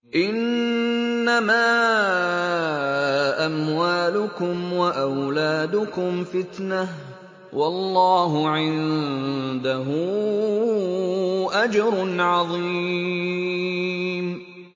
إِنَّمَا أَمْوَالُكُمْ وَأَوْلَادُكُمْ فِتْنَةٌ ۚ وَاللَّهُ عِندَهُ أَجْرٌ عَظِيمٌ